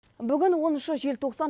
бүгін оныншы желтоқсан